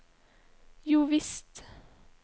jovisst